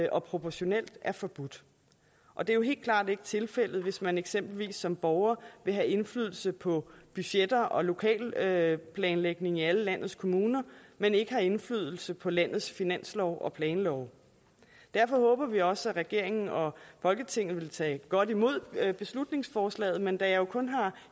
og proportionelt er forbudt og det er jo helt klart ikke tilfældet hvis man eksempelvis som borger vil have indflydelse på budgetter og lokalplanlægning i alle landets kommuner men ikke har indflydelse på landets finanslove og planlove derfor håber vi også at regeringen og folketinget vil tage godt imod beslutningsforslaget men da